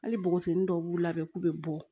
Hali npogotiginin dɔw b'u labɛn k'u bɛ bɔ